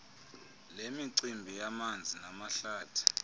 lemicimbi yamanzi namahlathi